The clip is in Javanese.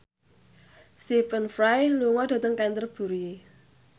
Stephen Fry lunga dhateng Canterbury